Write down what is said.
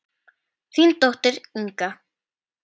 Þín dóttir, Inga.